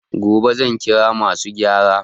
Gobe zan ƙira masu garaya